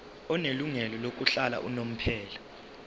onelungelo lokuhlala unomphela